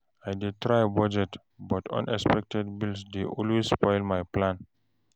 I dey try budget, but unexpected bills dey always spoil my plan.